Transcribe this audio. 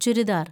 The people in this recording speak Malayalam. ചുരിദാര്‍